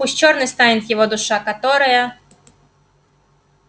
пусть чёрной станет его душа которая